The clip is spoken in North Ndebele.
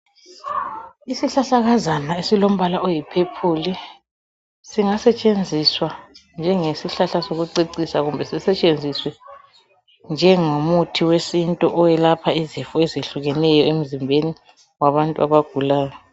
Isihlahlakazana esilombala oyiphephuli singasetshenziswa njengesihlahla sokucecisa kumbe sisetshenziswe njengomuthi wesintu oyelapha izifo ezehlukeneyo emzimbeni wabantu abagulayo.